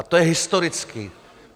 A to je historicky.